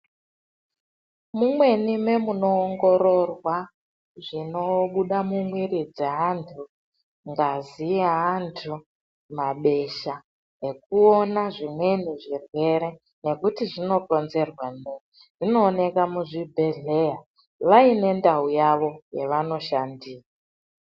Mumweni mwemunoongororwa zvinobuda mumwiri dzeanhu ngazi yeantu, mabesha nekuona zvimweni zvirwere nekuti zvinokonzerwa neyi zvinooneka muzvibhehleya vaine ndau yawo yavanoshandira.